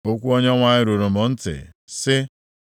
Okwu Onyenwe anyị ruru m ntị, sị,